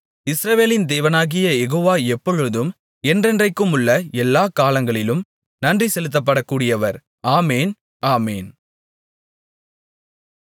இஸ்ரவேலின் தேவனாகிய யெகோவா எப்பொழுதும் என்றென்றைக்குமுள்ள எல்லாக் காலங்களிலும் நன்றிசெலுத்தப்படக்கூடியவர் ஆமென் ஆமென்